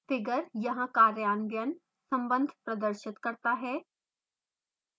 figure यहाँ कार्यान्वयन संबंध प्रदर्शित करता है